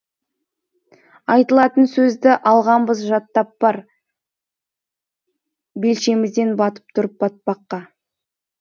айтылатын сөзді алғанбыз жаттап бар белшемізден батып тұрып батпаққа